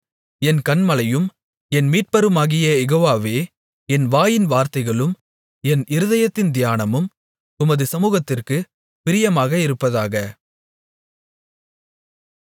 என் கன்மலையும் என் மீட்பருமாகிய யெகோவாவே என் வாயின் வார்த்தைகளும் என் இருதயத்தின் தியானமும் உமது சமுகத்திற்குப் பிரியமாக இருப்பதாக